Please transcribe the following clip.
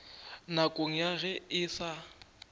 nakong ya ge e sa